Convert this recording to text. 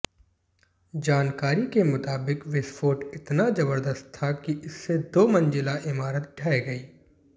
जानाकारी के मुताबिक विस्फोट इतना जबरदस्त था कि इससे दो मंजिला इमारत ढह गई